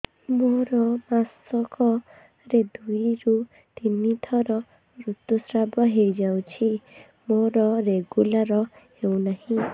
ମୋର ମାସ କ ରେ ଦୁଇ ରୁ ତିନି ଥର ଋତୁଶ୍ରାବ ହେଇଯାଉଛି ମୋର ରେଗୁଲାର ହେଉନାହିଁ